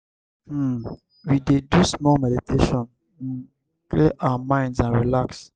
um we dey do small meditation um clear our minds and relax.